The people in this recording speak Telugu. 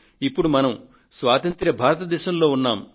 ఇప్పుడు మనం స్వతంత్ర భారతదేశంలో ఉన్నాం